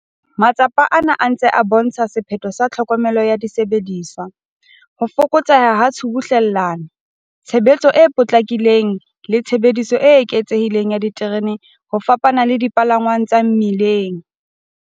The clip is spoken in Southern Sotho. Matsapa ana a se a ntse a bo ntsha sephetho sa tlhokomelo ya disebediswa, ho fokotseha ha tshubuhlellano, tshebetso e potlakileng le tshebediso e eketsehileng ya diterene ho fapana le dipalangwang tsa mmileng.